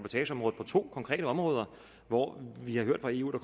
to konkrete områder hvor vi har hørt fra eu at